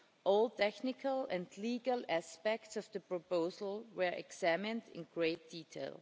All technical and legal aspects of the proposal were examined in great detail.